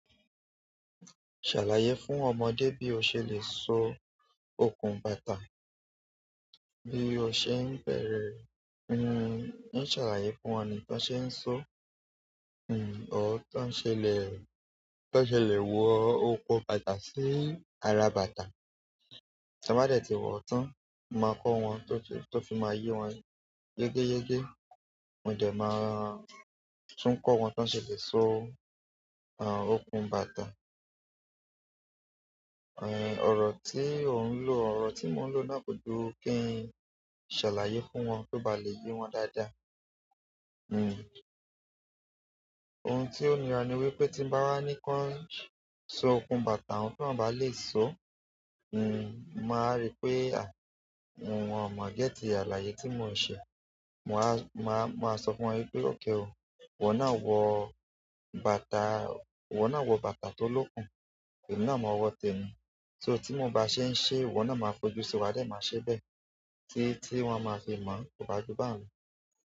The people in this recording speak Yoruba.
Ṣàlàyé fún ọmọdé bí o ṣe lè so okùn bàtà. Bí o ṣe ń bẹ̀rẹ̀, in ṣàlàyé fún wọn ní bí won ṣe ń sọ, or ton ṣẹlẹ̀, tọn ṣe le wọ okun bàtà sí ara bàtà. Tabalẹ ti wọ tan mo maa ko wọn to fi ma yie wọn yegeyege mo de máa tún kọ́ wọn ton ṣe lè so okùn bàtà. Ọ̀rọ̀ tí ò ń lò, ọ̀rọ̀ tí mò ń lò náà ko ju kí n ṣàlàyé fún wọn kí ó bá lè yé wọn dáadáa. Ohun ti o nira ni pe ti n ba ni ki wọn sọ okun bàtà ohun ti won o ba le so, mo wa ri pe ah wọn o mọ gẹt alaye ti mo n ṣe mà wa màá, màá sọ fún wọn pé okay o, iwọ́ náà wọ bàtà, iwọ́ náà wọ bàtà tó lókun, èmi náà mọ wọ́ tèmi. So tí mò bá ṣe ń ṣe iwọ́ náà máa fojú sí wa, dẹ̀ máa ṣe bẹ́ẹ̀. Tí tí wọ́n máa fi mọ̀, kò bá ju baun lo.